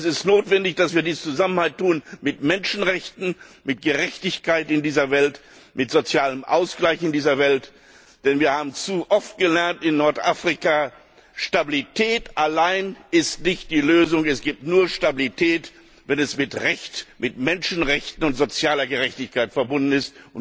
Aber es ist notwendig, dass wir dies zusammen tun mit Menschenrechten, mit der Gerechtigkeit in dieser Welt, mit dem sozialen Ausgleich in dieser Welt. Denn wir haben in Nordafrika zu oft gesehen Stabilität allein ist nicht die Lösung, es gibt nur Stabilität, wenn sie mit Recht, mit Menschenrechten und mit sozialer Gerechtigkeit verbunden ist.